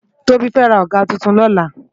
Tobi fè rá ágà tútún lòlá